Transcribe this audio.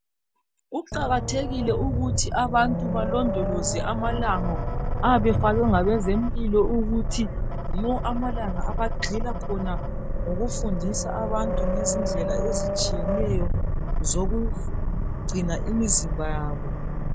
Kuqakathekile ukuthi abantu balondoloze amalanga, ayabe efakwe ngabezempilo ukuthi yiwo amalanga abagxila khona ngokufundisa abantu ngezindlela ezitshiyeneyo zokugcina imizimba yabo.